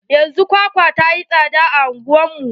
Yanzun kwakwa ta yi tsada a anguwar mu.